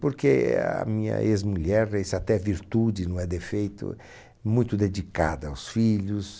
Porque a minha ex-mulher, isso até é virtude, não é defeito, muito dedicada aos filhos.